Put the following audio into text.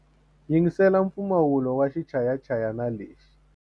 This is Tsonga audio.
Yingisela mpfumawulo wa xichayachayani lexi.